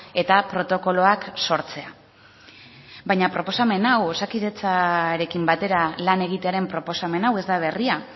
eta protokoloak sortzea baina proposamen hau osakidetzarekin batera lan egitearen proposamen hau ez da berria